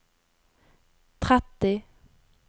tretti